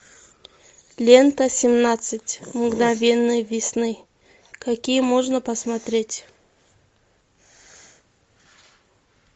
лента семнадцать мгновений весны какие можно посмотреть